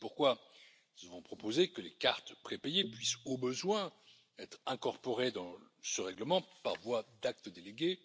C'est pourquoi nous avons proposé que les cartes prépayées puissent, au besoin, être incorporées dans ce règlement par voie d'acte délégué.